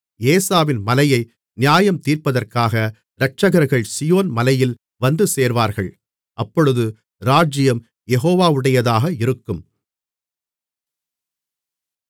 ஏசாவின் மலையை நியாயந்தீர்ப்பதற்காக இரட்சகர்கள் சீயோன் மலையில் வந்துசேர்வார்கள் அப்பொழுது இராஜ்யம் யெகோவாவுடையதாக இருக்கும்